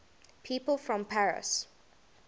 people from paris